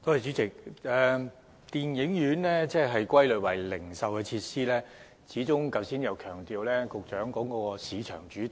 主席，電影院被歸類為零售設施，局長剛才又強調市場主導。